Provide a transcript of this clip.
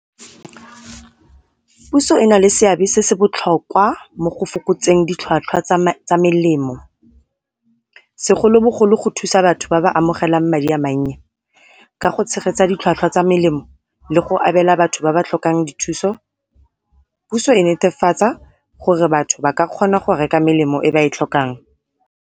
Puso e nale seabe se se botlhokwa mo go fokotseng ditlhwatlhwa tsa melemo, segolobogolo go thusa batho ba ba amogelang madi a mannye ka go tshegetsa ditlhwatlhwa tsa melemo le go abela batho ba ba tlhokang dithuso. Puso e netefatsa gore batho ba ka kgona go reka melemo e ba e tlhokang.